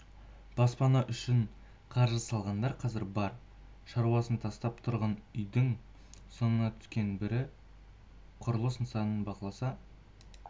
баспана үшін қаржы салғандар қазір бар шаруасын тастап тұрғын үйдің соңына түскен бірі құрылыс нысанын бақыласа